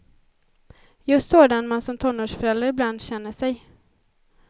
Just sådan man som tonårsförälder ibland känner sig.